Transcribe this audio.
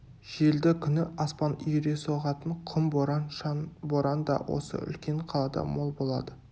желді күні аспан үйіре соғатын құм боран шаң боран да осы үлкен қалада мол болады